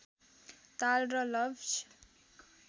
ताल र लवज